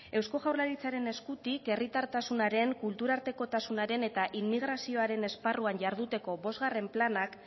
eusko jaurlaritzaren eskutik dekogun herritartasunaren kulturartekotasunaren eta immigrazioaren esparruan jarduteko bostgarren planak